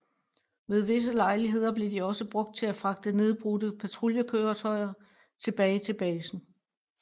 Ved visse lejligheder blev de også brugt til at fragte nedbrudte patruljekøretøjer tilbage til basen